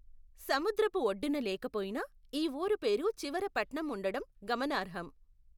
సముద్రపు ఒడ్డున లేక పోయినా, ఈ ఊరు పేరు చివర పట్నం ఉండటం గమనార్హం.